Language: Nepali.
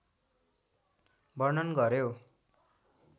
वर्णन गर्‍यो।